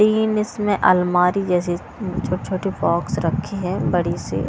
तीन इसमें अलमारी जैसी छोट छोटी बॉक्स रखी हैं बड़ी सी --